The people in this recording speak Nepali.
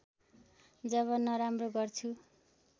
जब नराम्रो गर्छु